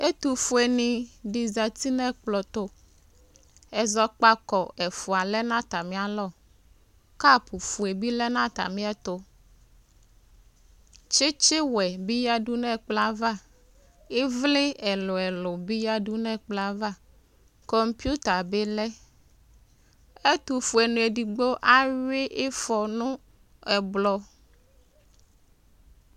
ɛtʋƒʋeni di zati nɛkplo tʋ kʋ ɛzɔkpako ɛƒʋa lɛ nata mialɔ kap lɛ na tamiɛtʋ tsitsiwɛ lɛ nʋ ɛkploava ɛvli ɛlʋɛlʋ bi yadʋ nɛkplɔava NA bi lɛ ɛtʋƒʋɛ ni edigbo awhʋi iƒɔ nʋ ɛblɔ